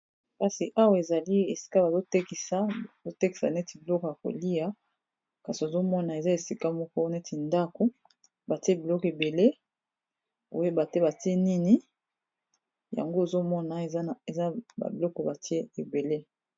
Kasi awa ezali esika bazotekisa neti biloko ya kolia kasi ozomona eza esika moko neti ndako batie biloko ebele oyebate batie nini yango ozomona eza babiloko batie ebele.